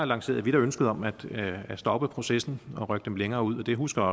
lancerede ønsket om at at stoppe processen og rykke dem længere ud det husker